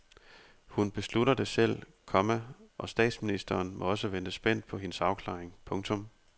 Hun beslutter det selv, komma og statsministeren må også vente spændt på hendes afklaring. punktum